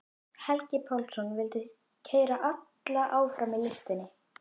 Helgi Pálsson vildi keyra alla áfram í listinni.